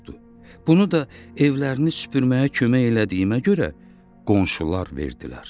Bunu da evlərini süpürməyə kömək elədiyimə görə qonşular verdilər.